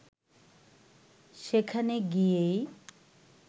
সেখানে গিয়েই